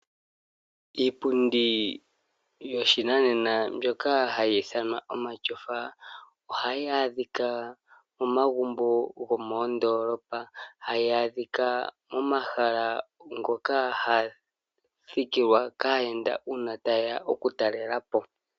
Iipundi yoshinanena mbyoka hayithanwa omatyofa ohayi adhika momagumbo gomondolopa, hayi adhika momahala goka hagathikilwà kayenda una tayeya oku talelapo.